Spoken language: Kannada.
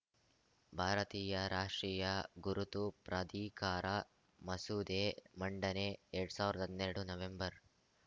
ಭಾರತೀಯ ರಾಷ್ಟ್ರೀಯ ಗುರುತು ಪ್ರಾಧಿಕಾರ ಮಸೂದೆ ಮಂಡನೆ ಎರಡ್ ಸಾವಿರ್ದ್ ಹನ್ನೆರಡ್ ನವೆಂಬರ್‌